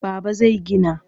Baba zai gina.